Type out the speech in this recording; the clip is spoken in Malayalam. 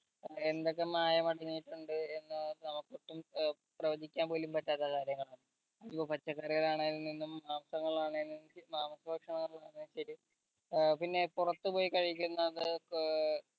എന്തൊക്കെ മായം അടങ്ങിയിട്ടുണ്ട് എന്ന് നമ്മക്ക് ഒട്ടും ഏർ പ്രവചിക്കാൻ പോലും പറ്റാത്ത കാര്യങ്ങളാണ് അതിപ്പം പച്ചക്കറികളിൽ ആണേൽനിന്നും നിന്നും മാംസങ്ങളാണേലും മാംസ ഭക്ഷണ ഏർ പിന്നെ പൊറത്ത് പോയി കഴിക്കന്നത് ഏർ